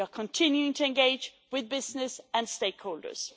We are continuing to engage with business and stakeholders.